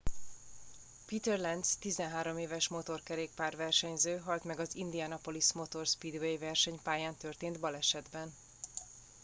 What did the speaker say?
peter lenz 13 éves motorkerékpár versenyző halt meg az indianapolis motor speedway versenypályán történt balesetben